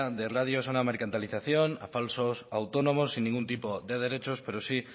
de radios a una mercantilización a falsos autónomos sin ningún tipo de derechos pero sí